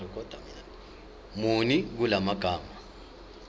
muni kula magama